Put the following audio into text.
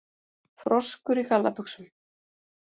Froskur í gallabuxum?